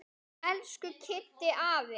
Elsku Kiddi afi.